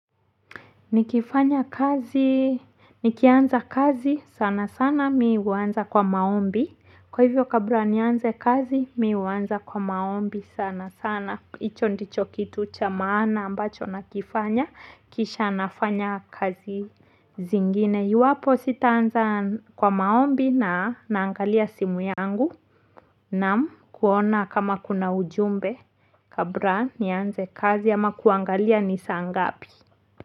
Nikifanya kazi nikianza kazi sana sana mimi huanza kwa maombi. Kwa hivyo kabla nianze kazi mimi huanza kwa maombi sana sana hicho ndicho kitu cha maana ambacho nakifanya kisha nafanya kazi zingine iwapo sitaanza kwa maombi naangalia simu yangu naam kuona kama kuna ujumbe kabla nianze kazi ama kuangalia ni saa ngapi.